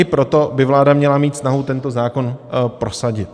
I proto by vláda měla mít snahu tento zákon prosadit.